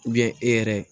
e yɛrɛ